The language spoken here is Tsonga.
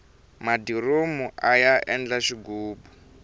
madiromu aya endla xighubu